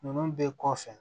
Ninnu bɛɛ kɔfɛ